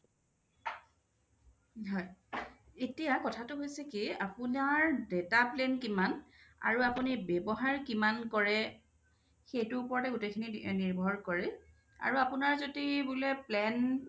হয় এতিয়া কথাটো হৈছে কি আপুনি আপোনাৰ data plan কিমান আৰু আপুনি কিমান ব্যৱহাৰ কৰে সেইটো ওপৰতে গোটেই খিনি নিৰ্ভৰ কৰে আৰু আপোনাৰ যদি বোলে plan